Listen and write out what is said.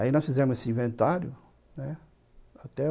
Aí nós fizemos esse inventário, né, até